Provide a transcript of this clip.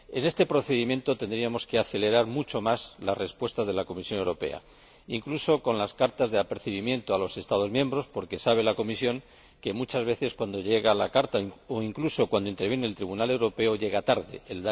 en el marco de este procedimiento tendríamos que acelerar mucho más las respuestas de la Comisión Europea, incluso con las cartas de apercibimiento a los Estados miembros, porque sabe la Comisión que, muchas veces, cuando llega la carta o incluso cuando interviene el Tribunal de Justicia de la Unión Europea, ya es tarde.